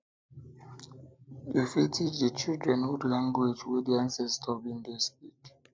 you fit teach di children old language language wey di ancestor been dey speak